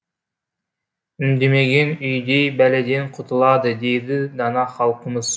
үндемеген үйдей бәледен құтылады дейді дана халқымыз